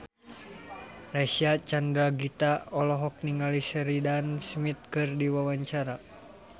Reysa Chandragitta olohok ningali Sheridan Smith keur diwawancara